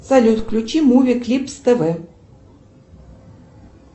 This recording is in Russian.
салют включи муви клипс тв